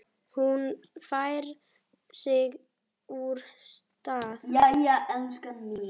Hún færir sig úr stað.